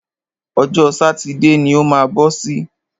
Ọjọ́ sátidé ni o má bọ́ sí.